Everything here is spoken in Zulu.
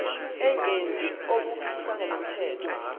engenzi okuphikisana nomthetho